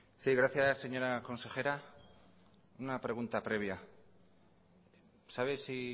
sí gracias señora consejera una pregunta previa sabe si